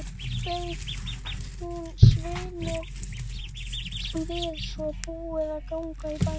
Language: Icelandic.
Bauð hún Sveini við svo búið að ganga í bæinn.